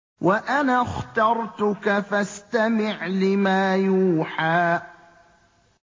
وَأَنَا اخْتَرْتُكَ فَاسْتَمِعْ لِمَا يُوحَىٰ